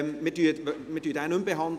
Wir behandeln ihn nicht mehr.